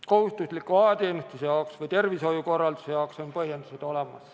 Kohustusliku ajateenistuse ja tervishoiukorralduse jaoks on põhjendused olemas.